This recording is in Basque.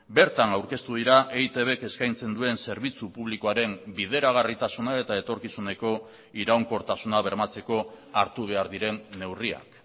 bertan aurkeztu dira eitbk eskaintzen duen zerbitzu publikoaren bideragarritasuna eta etorkizuneko iraunkortasuna bermatzeko hartu behar diren neurriak